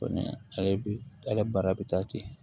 ale bi ale bara bi taa ten